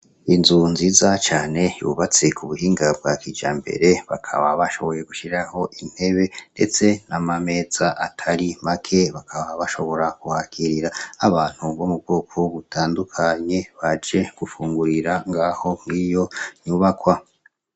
Inzu nziza cane yubatse ku buhinga bwa kija mbere bakaba bashoboye gushiraho intebe, ndetse n'amameza atari make bakaba bashobora kuhakirira abantu nbo mu bwoko wo gutandukanye baje gufungurira ngaho nk'iyo nyubakwa.